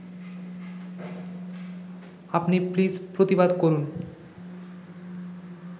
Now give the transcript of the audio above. আপনি প্লিজ প্রতিবাদ করুন